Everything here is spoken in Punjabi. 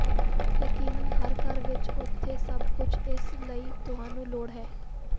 ਯਕੀਨਨ ਹਰ ਘਰ ਵਿੱਚ ਉੱਥੇ ਸਭ ਕੁਝ ਇਸ ਲਈ ਤੁਹਾਨੂੰ ਲੋੜ ਹੈ